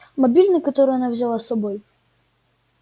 мобильный который она взяла с собой